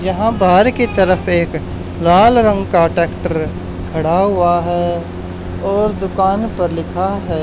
यहां बाहर की तरफ एक लाल रंग का ट्रैक्टर खड़ा हुआ है और दुकान पर लिखा है--